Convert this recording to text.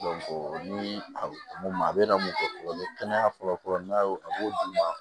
ni a mun ma a bɛna mun fɔ mɛ kɛnɛya fɔlɔ fɔlɔ n'a b'o d'i ma